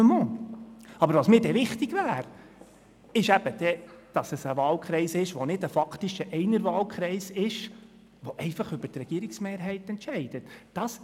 Mir wäre aber dann wichtig, dass es ein Wahlkreis wäre, der nicht ein faktischer Einerwahlkreis wäre, der dann über die Regierungsmehrheit entscheiden würde.